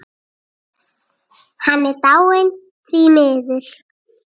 Hann er dáinn, því miður.